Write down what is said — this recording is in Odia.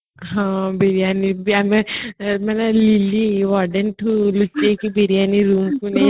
ହଁ biriyani ବି ଆମେ lily waden ଠୁ ଆମେ ଲୁଚେକି biriyani roomକୁ ନେଇଆସୁଥିଲେ